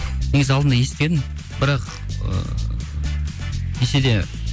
негізі алдында естігенмін бірақ ы десе де